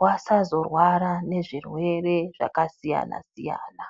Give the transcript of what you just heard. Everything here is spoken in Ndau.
vasazorwara ngezvirwere zvakasiyana-siyana.